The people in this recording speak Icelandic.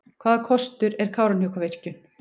Hvaða kostur er Kárahnjúkavirkjun?